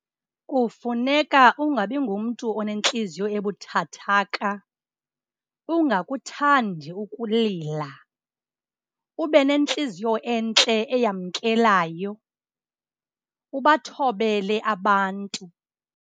Kufuneka ungabi ngumntu onentliziyo ebuthathaka, ungakuthandi ukulila. Ube nentliziyo entle eyamkelayo, ubathobele abantu.